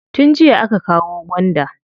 Tun jiya aka kawo gwanda.